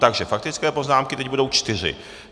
Takže faktické poznámky teď budou čtyři.